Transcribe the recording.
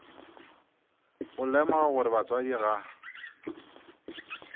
go lemoga gore batswadi ga